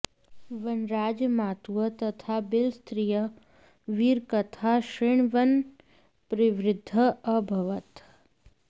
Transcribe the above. वनराजः मातुः तथा भिल्लस्त्रियाः वीरकथाः शृण्वन् प्रवृद्धः अभवत्